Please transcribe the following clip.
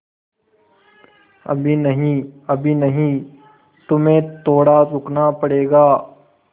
अभी नहीं अभी नहीं तुम्हें थोड़ा रुकना पड़ेगा